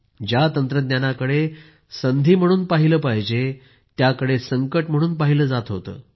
ज्या तंत्रज्ञानाकडे संधी म्हणून पाहिले पाहिजे त्याकडे संकट म्हणून पाहिले जात होते